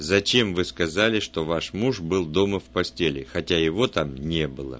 зачем вы сказали что ваш муж был дома в постели хотя его там не было